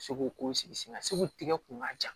Segu ko sigi sen kan seko tigɛ kun ka jan